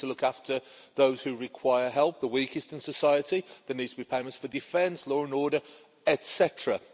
We need to look after those who require help, the weakest in society, and there need to be payments for defence, law and order, etcetera.